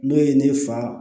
N'o ye ne fa